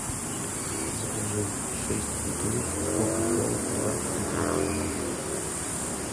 закажи шесть бутылок кока кола два литра